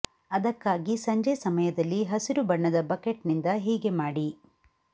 ಅದಕ್ಕಾಗಿ ಸಂಜೆ ಸಮಯದಲ್ಲಿ ಹಸಿರು ಬಣ್ಣದ ಬಕೆಟ್ ನಿಂದ ಹೀಗೆ ಮಾಡಿ